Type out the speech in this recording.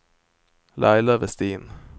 Laila Vestin